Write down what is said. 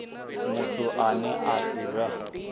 muthu ane a si vhe